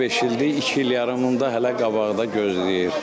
Düz beş ildir, iki il yarımı da hələ qabaqda gözləyir.